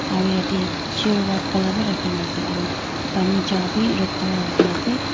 aro yatae chair white colour bi rakhina ase pani jar bi red colour rakhina ase.